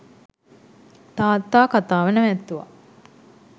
තාත්තා කතාව නැවැත්තුවා.